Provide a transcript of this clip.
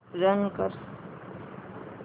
run कर